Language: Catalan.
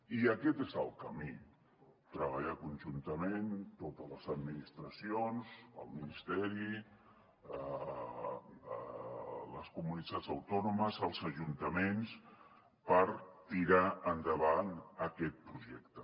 i aquest és el camí treballar conjuntament totes les administracions el ministeri les comunitats autònomes els ajuntaments per tirar endavant aquest projecte